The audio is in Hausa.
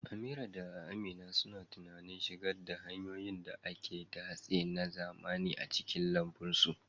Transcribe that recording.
Amira da Amina suna tunanin shigar da hanyoyin da ake datse na zamani a cikin lambun su.